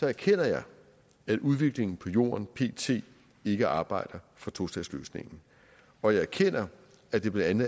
erkender jeg at udviklingen på jorden pt ikke arbejder for tostatsløsningen og jeg erkender at det blandt